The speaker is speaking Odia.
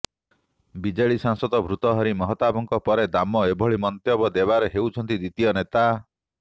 ବିଜେଡି ସାଂସଦ ଭର୍ତ୍ତୃହରି ମହତାବଙ୍କ ପରେ ଦାମ ଏଭଳି ମନ୍ତବ୍ୟ ଦେବାରେ ହେଉଛନ୍ତି ଦ୍ୱିତୀୟ ନେତା